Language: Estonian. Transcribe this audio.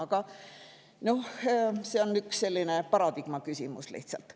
Aga noh, see on üks selline paradigmaküsimus lihtsalt.